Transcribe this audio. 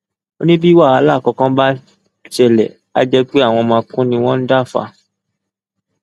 ó ní bí wàhálà kankan bá ṣẹlẹ àá jẹ pé àwọn makùn ni wọn ń dá fà á